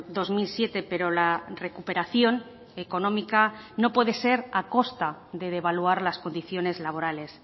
dos mil siete pero la recuperación económica no puede ser a costa de devaluar las condiciones laborales